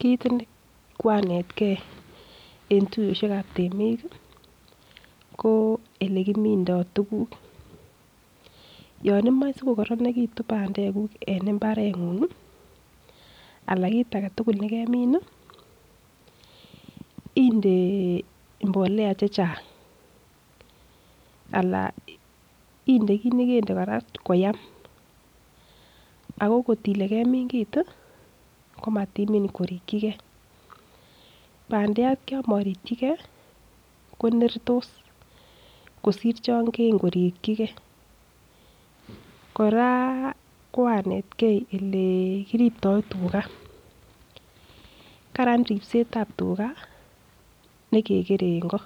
Kiit ne koanetgei en tuiyosiek ab temik ko ole kimindo tuguk yon imoe sikokoronegitun bandek en mbareng'ung ala kit age tugul ne kemin inde mbolea chechang ala inde kit nekende kora koyam. Ago ngot ile kemin kiit komat imin korekyi ge. Bandiat yon morikyi ge konertos kosir chon kegorikyi ge kora koanetgei ole kiriptoi tuga, karan ripset ab tuga ne kekere en go,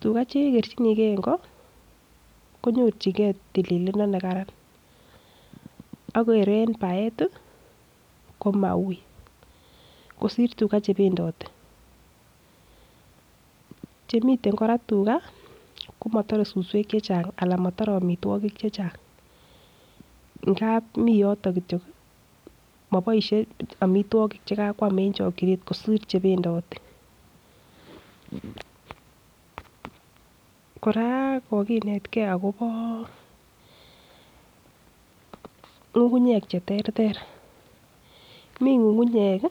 tuga che kerchnige en ko, konyorjinge tililindo ne karan ak kor en baet komauiy kosir tuga che bendote, chemiten ko kora tuga, komotore suswek chechang, anan komotore amitwogik chechang ngab mi yoto kityog moboishe amitwogik che kakwam, en chokinet kosir chebendoti. Kora koginetke agobo ng'ung'unyek che terter mi ng'ung'unyek